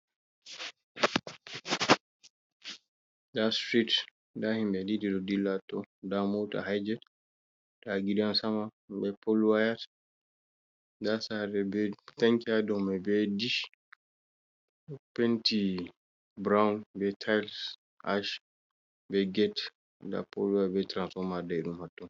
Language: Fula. Da strit, da himbe dilla hato, da mota hijet, da gidan sama, be polwaya, da sare be tanki ha dau mai be dish penti brown be tils ash be gate da polwaya be transforma daidum hato.